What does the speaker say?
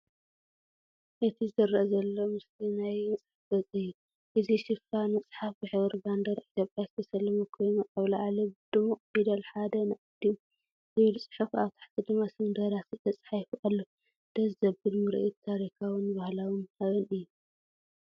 እቲ ዝርአ ዘሎ ምስሊ ናይ መጽሓፍ ገጽ እዩ። እዚ ሽፋን መጽሓፍ ብሕብሪ ባንዴራ ኢትዮጵያ ዝተሰለመ ኮይኑ፡ኣብ ላዕሊ ብድሙቕ ፊደላት'ሓደ ን ኣዲኡ'ዝብል ጽሑፍ፡ ኣብ ታሕቲ ድማ ስም ደራሲ ተጻሒፉ ኣሎ። ድስ ዘብል ምርኢት ታሪኻውን ባህላውን ሓበን እዩ።"